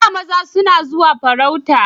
A da maza suna zuwa farauta